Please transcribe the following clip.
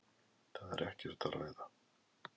Það er ekkert að ræða.